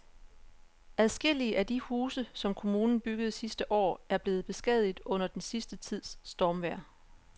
Adskillige af de huse, som kommunen byggede sidste år, er blevet beskadiget under den sidste tids stormvejr.